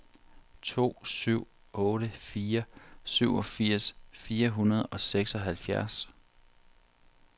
to syv otte fire syvogfirs fire hundrede og seksoghalvfjerds